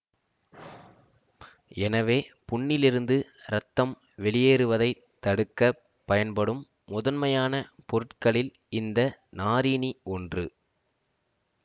எனவே புண்ணிலிருந்து இரத்தம் வெளியேறுவதை தடுக்க பயன்படும் முதன்மையான பொருட்களில் இந்த நாரீனி ஒன்று